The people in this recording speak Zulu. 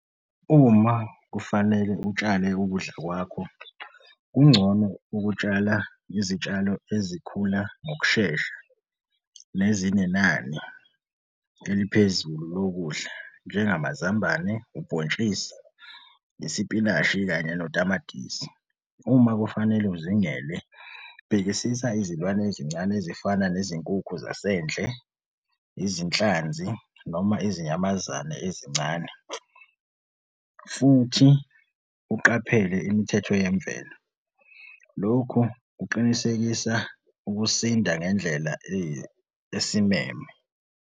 Uma kufanele utshale ukudla kwakho, kungcono ukutshala izitshalo ezikhula ngokushesha nezinenani eliphezulu lokudla, njengamazambane, ubhontshisi nesipinashi kanye notamatisi. Uma kufanele uzingele, bhekisisa izilwane ezincane ezifana nezinkukhu zasendle, izinhlanzi noma izinyamazane ezincane futhi uqaphele imithetho yemvelo. Lokhu kuqinisekisa ukusinda ngendlela esimeme.